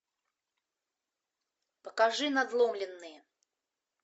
покажи надломленные